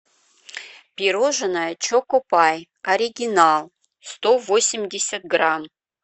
пирожное чоко пай оригинал сто восемьдесят грамм